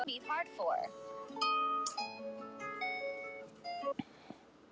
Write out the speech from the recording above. Erla: En gæti komið til þess að það þyrfti hreinlega að bera íbúana út?